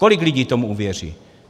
Kolik lidí tomu uvěří?